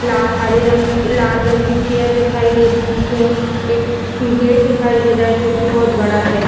ला हरे रंग लला रंग की चेयर दिखाई दे रही है एक गेट दिखाई दे रहा है जोकि बहुत बड़ा है।